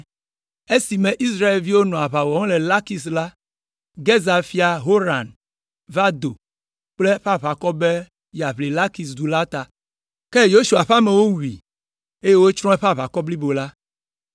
Esime Israelviwo nɔ aʋa wɔm le Lakis la, Gezer fia Horan va do kple eƒe aʋakɔ be yeaʋli Lakis du la ta. Ke Yosua ƒe amewo wui, eye wotsrɔ̃ eƒe aʋakɔ blibo la.